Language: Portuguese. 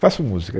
Faço música.